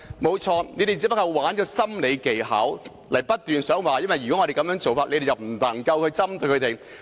對，他們只是玩弄心理技巧，不斷說如果我們這樣做，他們便無法針對這些人士。